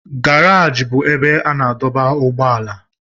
Garajị bụ ebe a na-adọba ụgbọala